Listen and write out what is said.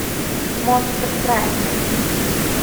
монстр траки найти